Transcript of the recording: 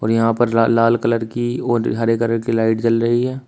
और यहां पर लाल लाल कलर की और हरे कलर की लाइट जल रही है।